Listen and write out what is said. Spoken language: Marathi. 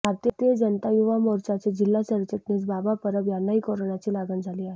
भारतीय जनता युवा मोर्चाचे जिल्हा सरचिटणीस बाबा परब यांनाही कोरोनाची लागण झाली आहे